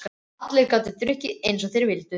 Allir gátu drukkið einsog þeir vildu.